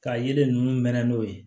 Ka yelen ninnu mɛn n'o ye